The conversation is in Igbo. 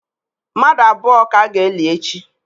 Mmadụ abụọ ka a ga-eli echi.